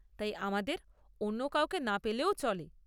তাই আমাদের অন্য কাউকে না পেলেও চলে।